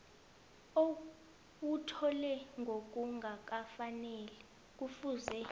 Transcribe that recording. owuthole ngokungakafaneli kufuze